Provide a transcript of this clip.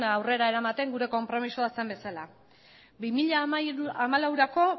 aurrera eramaten gure konpromisoa zen bezala bi mila hamalaurako